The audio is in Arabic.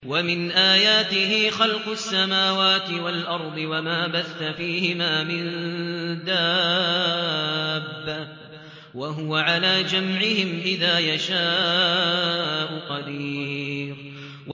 وَمِنْ آيَاتِهِ خَلْقُ السَّمَاوَاتِ وَالْأَرْضِ وَمَا بَثَّ فِيهِمَا مِن دَابَّةٍ ۚ وَهُوَ عَلَىٰ جَمْعِهِمْ إِذَا يَشَاءُ قَدِيرٌ